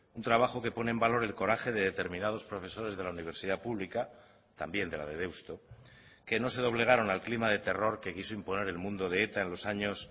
un trabajo que pone en valor el coraje de determinados profesores de la universidad pública también de la de deusto que no se doblegaron al clima de terror que quiso imponer el mundo de eta en los años